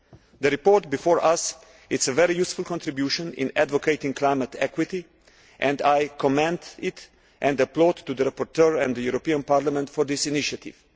The report before us is a very useful contribution in advocating climate equity I commend it and I applaud the rapporteur and the European Parliament for this initiative.